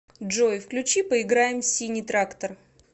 джой включи поиграем в синий трактор